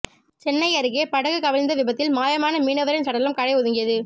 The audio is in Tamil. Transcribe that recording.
சென்னை அருகே படகு கவிழ்ந்த விபத்தில் மாயமானமீனவரின் சடலம் கரை ஒதுங்கியது